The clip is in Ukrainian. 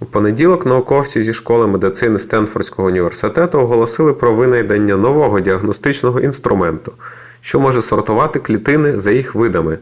у понеділок науковці зі школи медицини стенфордського університету оголосили про винайдення нового діагностичного інструменту що може сортувати клітини за їх видами